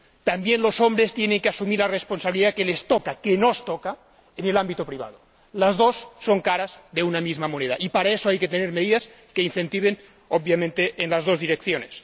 También los hombres tienen que asumir la responsabilidad que les toca —que nos toca— en el ámbito privado. Las dos son caras de una misma moneda y para eso hay que tener medidas que incentiven obviamente en las dos direcciones.